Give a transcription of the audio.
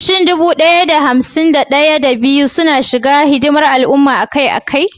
Shin dubu ɗaya da hamsin da ɗaya, da biyu suna shiga hidimar al'umma akai-akai?